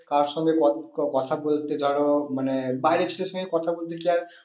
কার সঙ্গে কথা বলতে ধরো মানে বাইরের ছেলের সঙ্গে কথা বলতে চায়